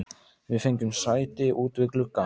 Við fengum sæti út við glugga.